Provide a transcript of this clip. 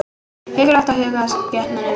Mikilvægt að huga að skepnunum